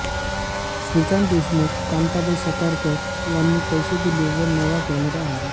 श्रीकांत देशमुख कांताबाई सातारकर यांनी पैसे दिले व नवा कॅमेरा आणला